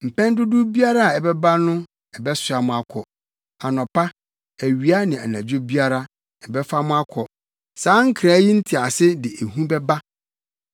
Mpɛn dodow biara a ɛbɛba no ɛbɛsoa mo akɔ; anɔpa, awia ne anadwo biara, ɛbɛfa mu akɔ.” Saa nkra yi ntease de ehu bɛba.